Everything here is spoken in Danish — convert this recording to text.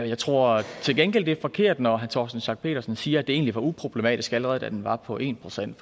jeg tror til gengæld det er forkert når herre torsten schack pedersen siger at det egentlig var uproblematisk allerede da den var på en procent